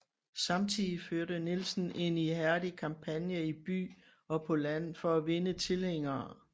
Samtidig førte Nielsen en ihærdig kampagne i by og på land for at vinde tilhængere